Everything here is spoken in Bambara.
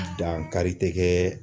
Dankari tɛ kɛ